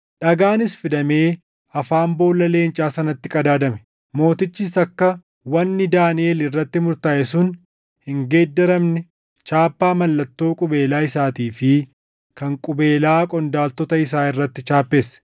Dhagaanis fidamee afaan boolla leencaa sanatti qadaadame; mootichis akka wanni Daaniʼel irratti murtaaʼe sun hin geeddaramne chaappaa mallattoo qubeelaa isaatii fi kan qubeelaa qondaaltota isaa irratti chaappesse.